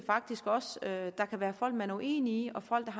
enig